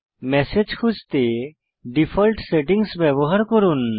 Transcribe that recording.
message খুঁজতে default settings ব্যবহার করুন